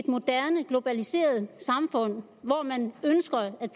moderne globaliseret samfund når man ønsker at